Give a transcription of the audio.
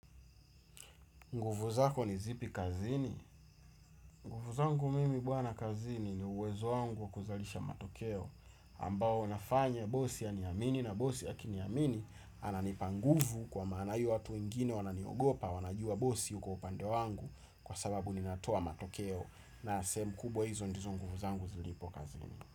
Nguvu zako ni zipi kazini. Nguvu zangu mimi bwana kazini ni uwezo wangu kuzalisha matokeo ambao nafanya bosi amini na bosi akiniamini ananipa nguvu kwa maana hii watu wengine wananiogopa wanajua bosi uko upande wangu kwa sababu ninatoa matokeo na sehemu kubwa hizo ndizo nguvu zangu zilipo kazini.